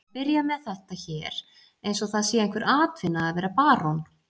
Að byrja með þetta hér eins og það sé einhver atvinna að vera barón?